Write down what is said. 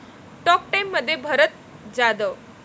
talk टाइममध्ये भरत जाधव